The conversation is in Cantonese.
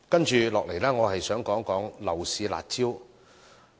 接下來我想談談樓市"辣招"。